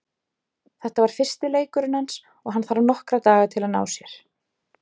Þetta var fyrsti leikurinn hans og hann þarf nokkra daga til að ná sér.